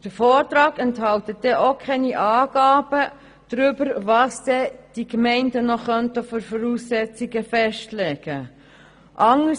Der Vortrag enthält auch keine Angaben darüber, was die Gemeinden noch für Voraussetzungen festlegen könnten.